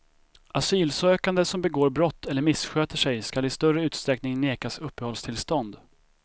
Asylsökande som begår brott eller missköter sig skall i större utsträckning nekas uppehållstillstånd.